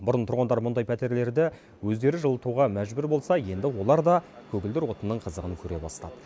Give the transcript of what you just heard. бұрын тұрғындар мұндай пәтерлерді өздері жылытуға мәжбүр болса енді олар да көгілдір отынның қызығын көре бастады